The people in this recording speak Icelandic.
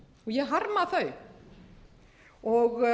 fjölmiðlum í gær og